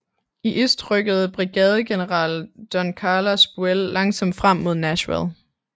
I øst rykkede brigadegeneral Don Carlos Buell langsomt frem mod Nashville